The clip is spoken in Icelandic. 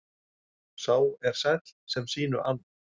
Sá er sæll sem sínu ann.